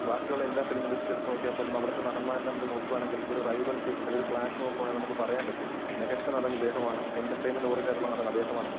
ബാക്കി ഉള്ള എല്ലാ ഫിലിം ഇൻഡസ്ട്രി എടുത്തുനോക്കിയാൽ പോലും അവിടുത്തെ നടന്മാരെ നമ്മള് നോക്കുവാണെങ്കില് ഒരു റൈവെൽഡറി അതിൽ ഒരു ക്ലാഷ് നോക്കുവാണെങ്കില് നമുക്ക് പറയാൻ പറ്റും. മികച്ച നടൻ ഇദ്ദേഹമാണ്. എന്റർടൈൻമെന്റ് ഓറിയന്റഡ് ആയിട്ടുള്ള നടൻ അദ്ദേഹമാണെന്നും.